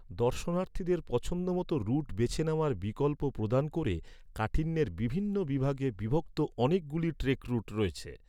দর্শনার্থীদের পছন্দমতো রুট বেছে নেওয়ার বিকল্প প্রদান ক’রে, কাঠিন্যের বিভিন্ন বিভাগে বিভক্ত অনেকগুলি ট্রেক রুট রয়েছে।